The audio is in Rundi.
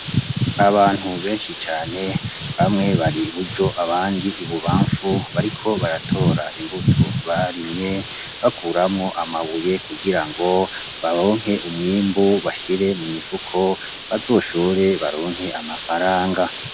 Abantu benshi cane bamwe bari iburyo abandi bari ibubamfu bariko baratora imbuto barimye bakuramwo amabuye kugirango baronke umwimbu bashire mu mifuko bazoshore baronke amafaranga.